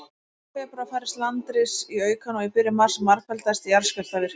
Í lok febrúar færðist landris í aukana, og í byrjun mars margfaldaðist jarðskjálftavirknin.